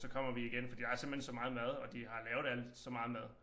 Så kommer vi igen fordi der er simpelthen så meget mad og de har lavet alt så meget mad